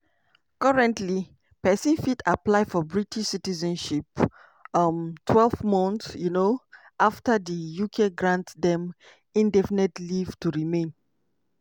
currently pesin fit apply for british citizenship um twelve months um afta di uk grant dem indefinite leave to remain.